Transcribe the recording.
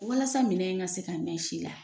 Walasa minɛn in ka se ka mɛn si la